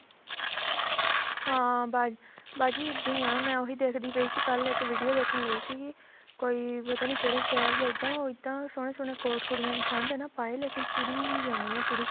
ਹਾਂ ਬਾਜੀ ਦੀਆ ਮੈਂ ਉਹੀ ਦੇਖਦੀ ਪਈ ਸੀ ਕੱਲ ਇੱਕ video ਦੇਖਣ ਲੱਗੀ ਸੀਗੀ ਕੋਈ ਪਤਾ ਨਹੀਂ ਕਿਹੜੇ ਸ਼ਹਿਰ ਚ ਇੱਦਾਂ ਉਹ ਇੱਦਾਂ ਉਹ ਸੋਹਣੇ ਸੋਹਣੇ ਕੋਟ ਕੁੜੀਆਂ ਨੇ ਠੰਡ ਹੈ ਨਾ ਪਾਏ ਲੇਕਿਨ ਤੁਰੀ ਜਾਂਦੀਆਂ ਤੁਰੀ